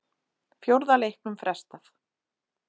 Fjórða leiknum frestað